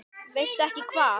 Veistu ekki hvað?